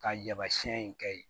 Ka yamasiyɛn in kɛ ye